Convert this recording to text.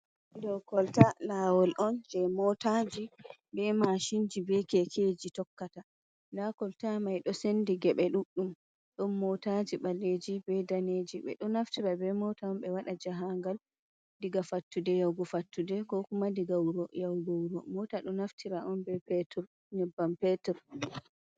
Ɗo kolta. Lawol on je motaji, be mashinji, be kekeji, tokkata. Nda kolta mai ɗo sendi ge ɓe ɗuɗɗum, ɗon motaji ɓalleji be daneji. Ɓe ɗo naftira be mota on ɓe waɗa jaha ngal, diga fattude yahugo fattude, ko kuma diga wuro yahgo wuro. Mota ɗo naftira on be petir nyebbam petir.